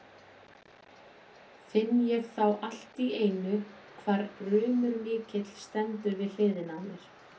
Finn ég þá allt í einu hvar rumur mikill stendur við hliðina á mér.